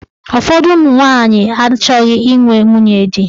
Ụfọdụ ụmụnwanyị achọghị inwe nwunye di.